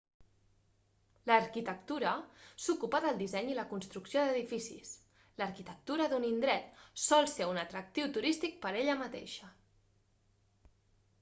l'arquitectura s'ocupa del disseny i la construcció d'edificis l'arquitectura d'un indret sol ser un atractiu turístic per ella mateixa